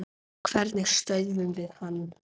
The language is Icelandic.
Hvernig stöðvum við hann?